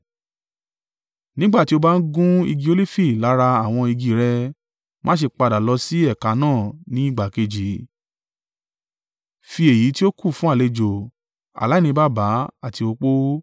Nígbà tí o bá ń gun igi olifi lára àwọn igi i rẹ, má ṣe padà lọ sí ẹ̀ka náà ní ìgbà kejì. Fi èyí tí ó kù fún àlejò, aláìní baba àti opó.